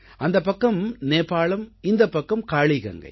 அந்தப் பக்கம் நேபாளம் இந்தப் பக்கம் காளீகங்கை